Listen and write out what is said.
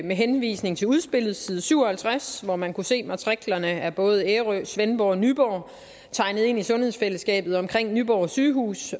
med henvisning til udspillet på side syv og halvtreds hvor man kunne se matriklerne af både ærø svendborg og nyborg tegnet ind i sundhedsfællesskabet omkring nyborg sygehus